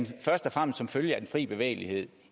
først og fremmest som følge af den fri bevægelighed